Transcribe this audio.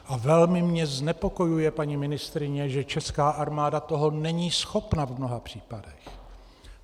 A velmi mě znepokojuje, paní ministryně, že česká armáda toho není schopna v mnoha případech.